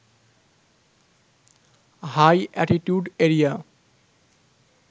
high attitude area